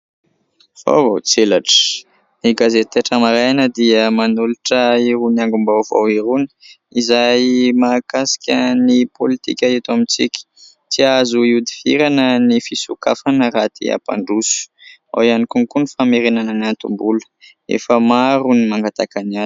Vaovao tselatra ! Ny gazety Taitra Maraina dia manolotra irony angom-baovao irony izay mahakasika ny pôlitika eto amintsika. "Tsy azo ihodivirana ny fisokafana raha te hampandroso" ; ao ihany koa : "Ny famerenana ny antom-bola : efa maro ny nangataka ny azy".